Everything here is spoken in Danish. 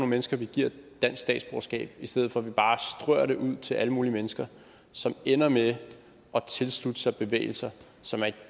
mennesker vi giver dansk statsborgerskab i stedet for at vi bare strør det ud til alle mulige mennesker som ender med at tilslutte sig bevægelser som er i